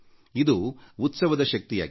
ಇದು ಉತ್ಸವದ ಶಕ್ತಿಯಾಗಿದೆ